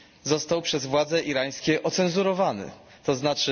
został przez władze irańskie ocenzurowany, tzn.